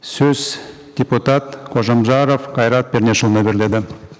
сөз депутат қожамжаров қайрат пернешұлына беріледі